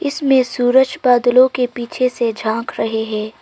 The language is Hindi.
इसमें सूरज बादलों के पीछे से झांक रहे हैं।